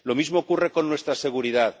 Lo mismo ocurre con nuestra seguridad.